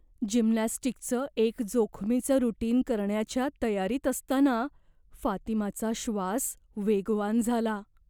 जिम्नॅस्टिकचं एक जोखमीचं रुटीन करण्याच्या तयारीत असताना फातिमाचा श्वास वेगवान झाला.